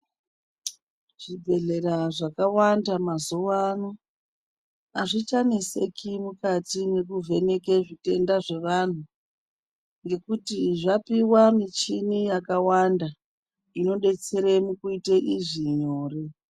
Zvibhedhlera zvakawanda mazuvano azvichanesiki mukati mwekuvheneke zvitenda zvevanhu, ngekuti zvapiwa michini yakawanda inodetsere mukuite izvi nyore.